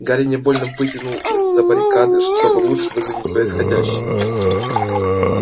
гарри невольно выглянул из-за баррикады чтобы лучше видеть происходящее